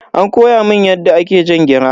An koya mun yadda ake jan gira.